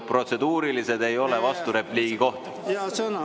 Protseduurilised ei ole vasturepliigi koht.